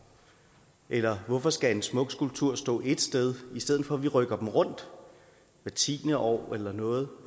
eller hvorfor skal en smuk skulptur stå ét sted i stedet for at vi rykker den rundt hvert tiende år eller noget